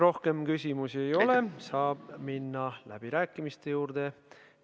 Rohkem küsimusi ei ole, saab minna läbirääkimiste juurde.